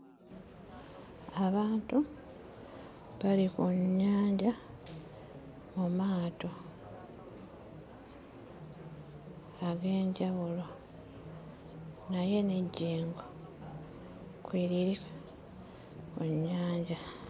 Abantu bali ku nnyanja mu maato ag'enjawulo naye n'ejjengo kweriri mu nnyanja.